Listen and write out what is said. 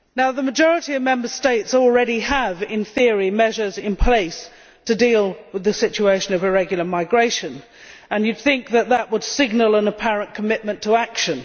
The majority of Member States already have, in theory, measures in place to deal with the situation of irregular migration, and you would think that would signal an apparent commitment to action.